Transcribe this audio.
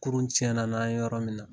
Kurun tiɲɛna n'an ye yɔrɔ min na